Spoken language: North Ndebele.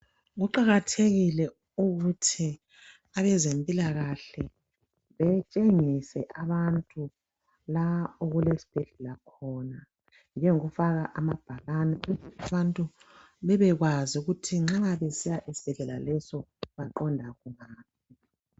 Kuqakathekile ukuthi abezempilakahle betshengise abantu lapho okulesibhedlela khona njengokufaka amabhakane ukuze abantu bebekwazi ukuthi baqonda kuphi.